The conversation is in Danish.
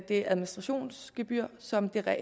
det administrationsgebyr som dækker